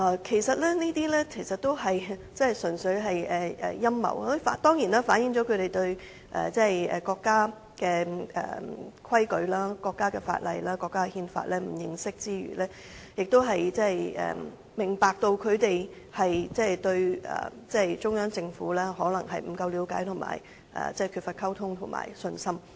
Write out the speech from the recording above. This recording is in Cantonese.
這些純粹是陰謀論，除了反映他們對國家的規矩、法例、憲法不認識，亦顯示他們可能對中央政府了解不足、缺乏溝通及信心。